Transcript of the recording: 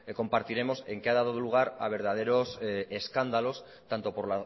compartiremos que ha dado lugar a verdaderos escándalos tanto por